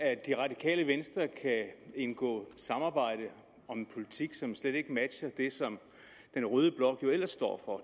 det radikale venstre kan indgå samarbejde om en politik som slet ikke matcher det som den røde blok jo ellers står for